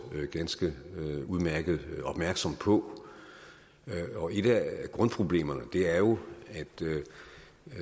ganske udmærket opmærksom på et af grundproblemerne er jo